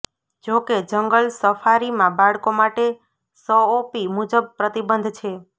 જો કે જંગલ સફારીમાં બાળકો માટે સઓપી મુજબ પ્રતિબંધ છે